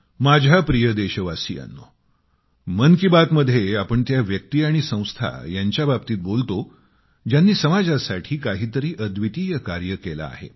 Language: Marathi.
माझ्या प्रिय देशवासियांनो मन की बातमध्ये आपण त्या व्यक्ती आणि संस्था यांच्याबाबतीत बोलतो ज्यांनी समाजासाठी काही तरी अद्वितीय कार्य केले आहे